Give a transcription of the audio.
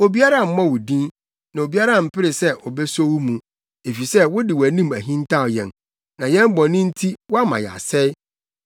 Obiara mmɔ wo din, na obiara mpere sɛ obeso wo mu; efisɛ wode wʼanim ahintaw yɛn na yɛn bɔne nti woama yɛasɛe.